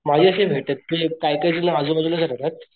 माझ्याशी भेटत नाही काही काही जण आजूबाजूलाच राहतात,